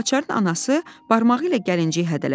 Gülaçarın anası barmağı ilə gəlinciyi hədələdi: